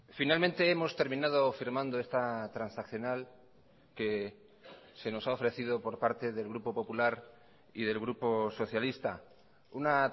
finalmente hemos terminado firmando esta transaccional que se nos ha ofrecido por parte del grupo popular y del grupo socialista una